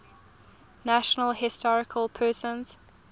national historic persons